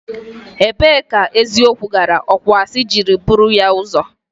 Ebee ka eziokwu gara okwuasị jiri buru ya ụzọ?